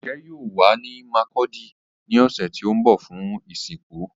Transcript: Oche yoo wa ni Markudi ni ọsẹ ti n bọ fun isinku